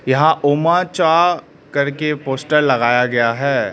यहां ओमाचा करके पोस्टर लगाया गया है।